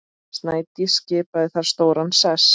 Snædís skipaði þar stóran sess.